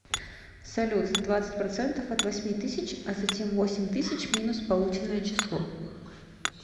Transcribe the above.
салют двадцать процентов от восьми тысяч а затем восемь тысяч минус полученное число